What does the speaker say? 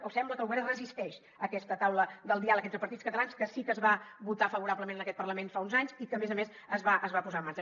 o sembla que el govern es resisteix a aquesta taula del diàleg entre partits catalans que sí que es va votar favorablement en aquest parlament fa uns anys i que a més a més es va es va posar en marxa